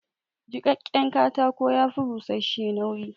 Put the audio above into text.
Jiƙaƙƙen katako ya fi bushash-she nauyi